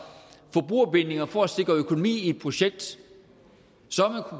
forbrugerbindinger for at sikre økonomi i et projekt så har